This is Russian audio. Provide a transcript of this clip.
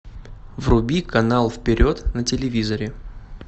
вруби канал вперед на телевизоре